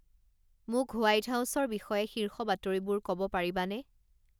মোক হোৱাইট হাউছৰ বিষয়ে শীৰ্ষ বাতৰিবোৰ ক'ব পাৰিবানে